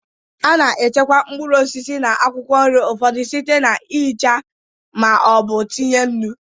A na-echekwa mkpụrụ osisi na akwụkwọ nri ụfọdụ site n'ihicha ma ọ bụ itinye nnu.